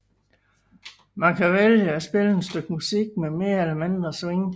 Man kan vælge at spille et stykke musik med mere eller mindre swing